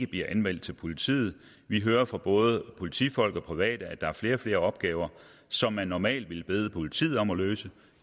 bliver anmeldt til politiet vi hører fra både politifolk og private at der er flere og flere opgaver som man normalt ville bede politiet om at løse